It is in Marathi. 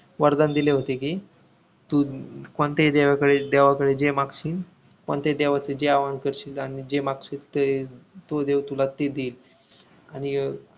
वरदान दिले होते कि तू कोणत्याही देवाकडे देवाकडे जे मागशील कोणत्याही देवाचे जे आवाहन करशील आणि जे मागशील ते तो देव तुला देईल आणि अं